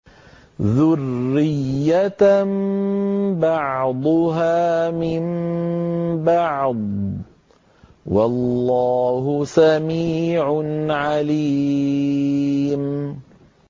ذُرِّيَّةً بَعْضُهَا مِن بَعْضٍ ۗ وَاللَّهُ سَمِيعٌ عَلِيمٌ